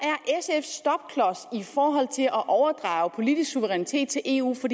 i forhold til at overdrage politisk suverænitet til eu for